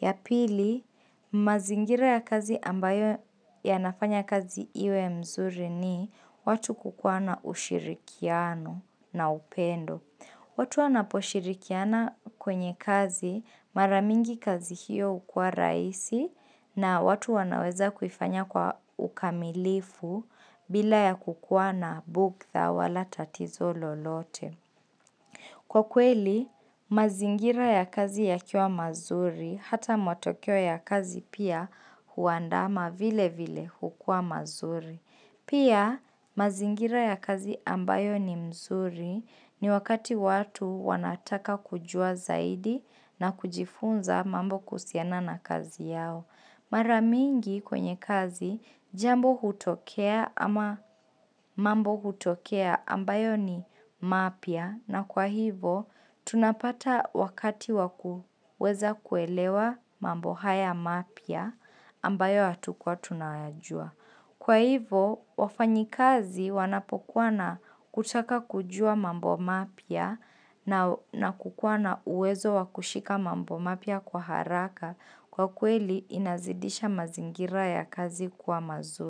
Ya pili, mazingira ya kazi ambayo yanafanya kazi iwe mzuri ni watu kukuwa na ushirikiano na upendo. Watu wanaposhirikiana kwenye kazi mara mingi kazi hiyo hukua rahisi na watu wanaweza kuifanya kwa ukamilifu bila ya kukuwa na bugdha wala tatizo lolote. Kwa kweli, mazingira ya kazi yakiwa mazuri, hata matokeo ya kazi pia huandama vile vile hukuwa mazuri. Pia, mazingira ya kazi ambayo ni mzuri ni wakati watu wanataka kujua zaidi na kujifunza mambo kuhusiana na kazi yao. Mara mingi kwenye kazi jambo hutokea ama mambo hutokea ambayo ni mapya na kwa hivo tunapata wakati wa kuweza kuelewa mambo haya mapya ambayo hatukuwa tunayajua. Kwa hivo wafanyikazi wanapokuwa na kutaka kujua mambo mapya na kukuwa na uwezo wakushika mambo mapya kwa haraka kwa kweli inazidisha mazingira ya kazi kuwa mazuri.